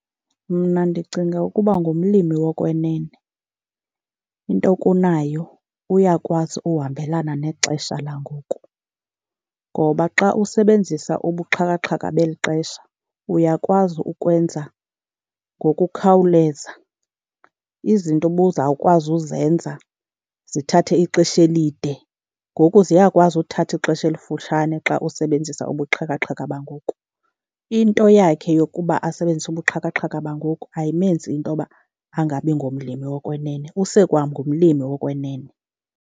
Mna ndicinga ukuba ngumlimi wokwenene into okunayo uyakwazi uhambelana nexesha langoku, ngoba xa usebenzisa ubuxhakaxhaka beli xesha uyakwazi ukwenza ngokukhawuleza. Izinto obuzawukwazi uzenza zithathe ixesha elide ngoku ziyakwazi uthatha ixesha elifutshane xa usebenzisa ubuxhakaxhaka bangoku. Into yakhe yokuba asebenzise ubuxhakaxhaka bangoku ayimenzi into yoba angabi ngomlimi wokwenene, usekwangumlimi wokwenene.